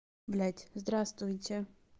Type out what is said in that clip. блядь здравствуйте